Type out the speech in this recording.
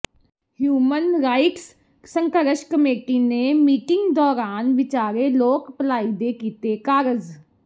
human rights ਸੰਘਰਸ਼ committee ਨੇ meeting ਦੌਰਾਨ ਵਿਚਾਰੇ ਲੋਕ ਭਲਾਈ ਦੇ ਕੀਤੇ ਕਾਰਜ਼